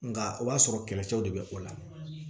Nka o b'a sɔrɔ kɛlɛcɛw de be o la